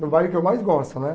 No bairro que eu mais gosto, né?